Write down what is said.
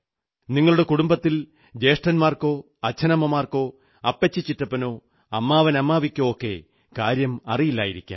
നിങ്ങളുടെ കുടുംബത്തിൽ ജ്യേഷ്ഠന്മാർക്കോ അച്ഛനമ്മമാർക്കോ അപ്പച്ചിചിറ്റപ്പനോ അമ്മാവൻഅമ്മാവിക്കോ ഒക്കെ കാര്യം അറിയില്ലായിരിക്കാം